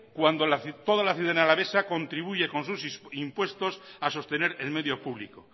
cuando toda la ciudadanía alavesa contribuye con sus impuestos a sostener el medio público